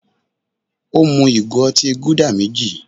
Ó mú ìgò otí Gúdà méjì.